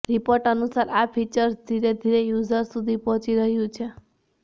report અનુસાર આ feature ધીરે ધીરે યુઝર્સ સુધી પહોંચી રહ્યું છે